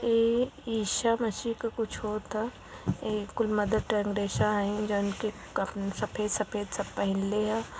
ए ईसा मसीह का होत ह ए कुल मदर टेरेसा ह अ जानके सफेद सफेद सब पहनले ह।